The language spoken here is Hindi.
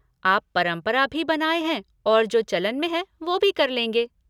आप परंपरा भी बनाए हैं और जो चलन में है वो भी कर लेंगे।